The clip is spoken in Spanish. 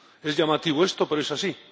Es llamativo esto, pero es así.